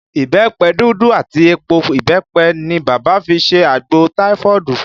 Ìbẹ́pẹ dúdú àti èpò ìbẹ́pẹ ni bàbá fi ṣe àgbò taifoodu